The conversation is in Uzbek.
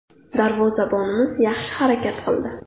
Darvozabonimiz yaxshi harakat qildi.